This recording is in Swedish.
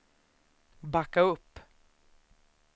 backa upp